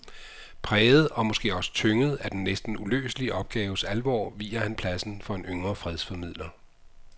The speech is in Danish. Præget og måske også tynget af den næsten uløselige opgaves alvor viger han pladsen for en yngre fredsformidler.